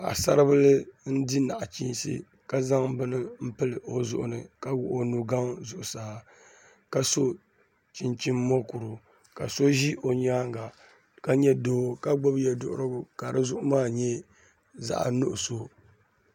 Paɣasaribili n di nachiinsi ka zaŋ bini n pili o zuɣu ni ka wuɣi o nugaŋ zuɣusaa ka so chinchin mokuru ka so ʒi o nyaanga ka nyɛ doo ka gbubi yɛduɣurigu ka di zuɣu maa nyɛ zaɣ nuɣso